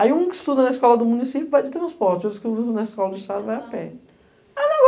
Aí um que estuda na escola do município vai de transporte, outro que estuda na escola do estado vai a pé.